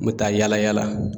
N mi taa yala yala